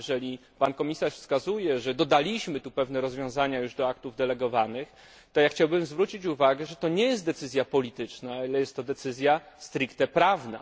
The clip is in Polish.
Jeżeli Pan Komisarz wskazuje, że dodaliśmy tu już pewne rozwiązania do aktów delegowanych, to ja chciałbym zwrócić uwagę, że to nie jest decyzja polityczna, ale jest to decyzja stricte prawna.